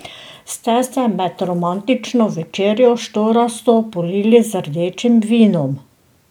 Ste se med romantično večerjo štorasto polili z rdečim vinom?